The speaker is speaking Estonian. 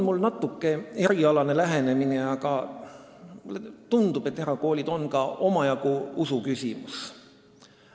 Mul on natuke erialane lähenemine, aga mulle tundub, et erakoolid on ka omajagu usuküsimus.